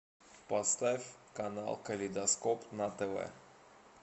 поставь канал калейдоскоп на тв